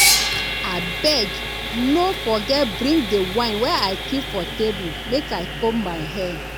abeg no forget bring the wine i keep for table make i comb my hair